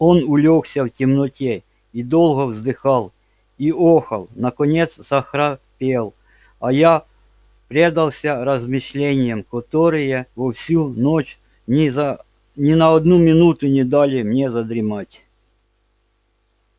он улёгся в темноте и долго вздыхал и охал наконец захрапел а я предался размышлениям которые во всю ночь ни на одну минуту не дали мне задремать